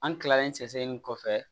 An kilalen sɛgɛsɛgɛli in kɔfɛ